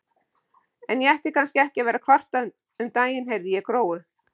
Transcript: En ég ætti kannski ekki að vera að kvarta, um daginn heyrði ég Gróu